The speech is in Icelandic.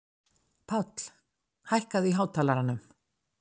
Páll, hækkaðu í hátalaranum.